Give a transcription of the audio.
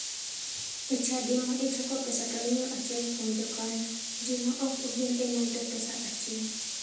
E chadi ma ichoko pesa to imiyo achiel kuom jokanyo, ji ma ok ogen ema yudo pesa achien.